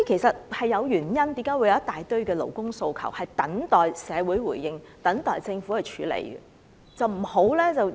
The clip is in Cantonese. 所以，為何有一大堆勞工訴求等待社會回應和政府處理其實是有原因的。